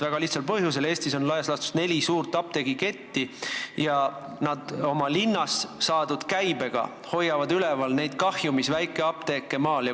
Väga lihtsal põhjusel: Eestis on laias laastus neli suurt apteegiketti ja oma linnas saadud käibega hoiavad nad üleval ka kahjumis olevaid väikeapteeke maal.